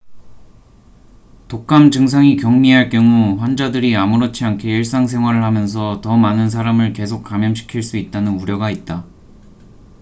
독감 증상이 경미할 경우 환자들이 아무렇지 않게 일상생활을 하면서 더 많은 사람을 계속 감염시킬 수 있다는 우려가 있다